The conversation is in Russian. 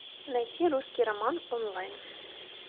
найти русский роман онлайн